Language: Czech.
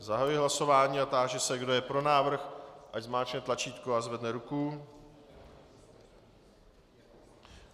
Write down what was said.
Zahajuji hlasování a táži se, kdo je pro návrh, ať zmáčkne tlačítko a zvedne ruku.